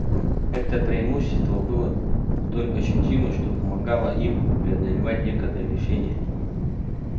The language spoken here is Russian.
это преимущество было столь ощутимо что помогало им преодолевать некоторые лишения